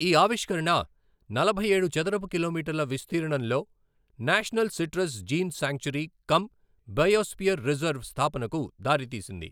ఈ ఆవిష్కరణ నలభై ఏడు చదరపు కిలోమీటర్ల విస్తీర్ణంలో national citrus gene sanctuary cum biosphere reserve స్థాపనకు దారితీసింది.